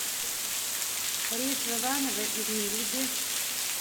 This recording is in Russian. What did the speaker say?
рейс в иваново из мериды